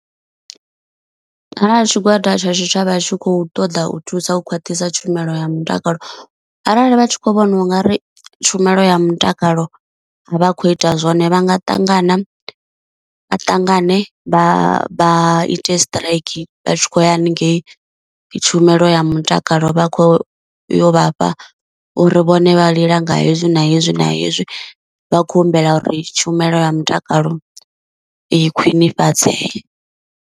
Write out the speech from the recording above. Arali tshigwada tsha tshitshavha tshi khou ṱoḓa u thusa u khwaṱhisa tshumelo ya mutakalo, arali vha tshi khou vhona ungari tshumelo ya mutakalo a vha khou ita zwone vha nga ṱangana, vha ṱangane vha ite strike vha tshi khou ya haningei tshumelo ya mutakalo vha kho yo vhafha uri vhone vha lila nga hezwi na hezwi na hezwi, vha khou humbela uri tshumelo ya mutakalo i khwinifhadzee.